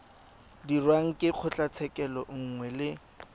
dirwang ke kgotlatshekelo nngwe le